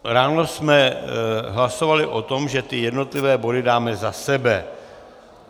Ráno jsme hlasovali o tom, že ty jednotlivé body dáme za sebe.